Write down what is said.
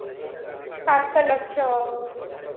ସାତ ଲକ୍ଷ୍ୟ